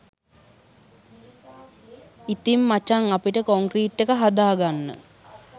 ඉතින් මචන් අපිට කොන්ක්‍රීට් එක හදාගන්න